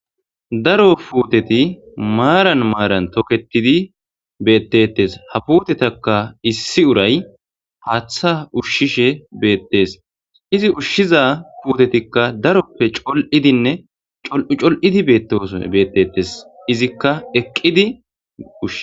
daro puteti maran maran tokkettid betetees.haa putetakka issi urayyi haththa ushshishe betees .izzi ushizza putettikka daroppe coli''idd nne col''u col'iddi betetees.izzikka eqiddi ushshe